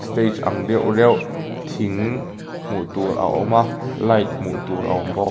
stage ang deuh reuh thing hmuh tur a awm a light hmuh tur a awm bawk.